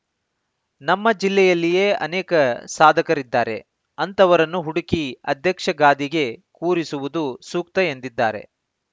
ನಮ್ಮ ಜಿಲ್ಲೆಯಲ್ಲಿಯೇ ಅನೇಕ ಸಾಧಕರಿದ್ದಾರೆ ಅಂಥವರನ್ನು ಹುಡುಕಿ ಅಧ್ಯಕ್ಷ ಗಾದಿಗೆ ಕೂರಿಸುವುದು ಸೂಕ್ತ ಎಂದಿದ್ದಾರೆ